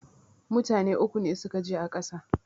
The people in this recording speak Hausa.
Mutane uku ne suka je a ƙasa